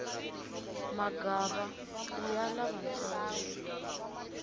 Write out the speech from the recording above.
magava iya lavantsongo